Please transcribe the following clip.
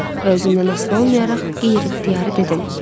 Və özümdən asılı olmayaraq qeyri-ixtiyari dedim.